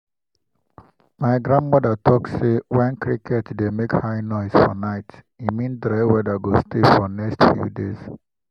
my grandmother talk say when cricket dey make high noise for night e mean dry weather go stay for next few days.